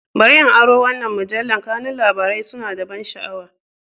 Bari in aron wannan mujallar, kanun labarai suna da ban sha'awa.